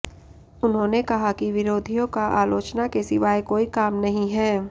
उन्होंने कहा कि विरोधियों का आलोचना के सिवाय कोई काम नही है